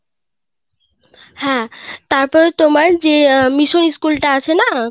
হ্যাঁ তারপর তোমার যে অ্যাঁ মিশন school টা আছে না